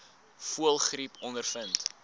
voëlgriep ondervind